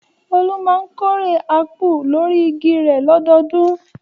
Olú máa ń kórè ápù lórí igi rẹ̀ lọ́dọọdún.